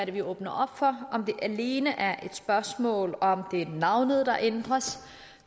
vi åbner op for om det alene er et spørgsmål om at det er navnet der ændres